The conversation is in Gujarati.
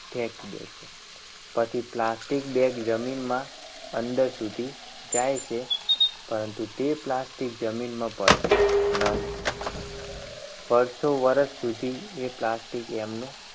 ફેંકી દે છે. પછી plastic bag જમીનમાં અંદર સુધી જાય છે. પરંતુ તે plastic જમીનમાં ભળતું નથી વર્ષો વર્ષ સુધી તે એ plastic એમનું